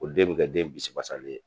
O den bɛ kɛ den bisibasalen ye.